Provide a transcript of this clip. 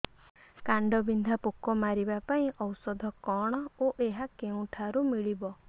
କାଣ୍ଡବିନ୍ଧା ପୋକ ମାରିବା ପାଇଁ ଔଷଧ କଣ ଓ ଏହା କେଉଁଠାରୁ ମିଳିବ